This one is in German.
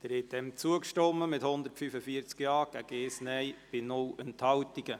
Sie haben zugestimmt mit 145 Ja-Stimmen gegen 1 Nein-Stimme bei 0 Enthaltungen.